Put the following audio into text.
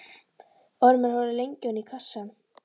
Ormur horfði lengi ofan í kassann.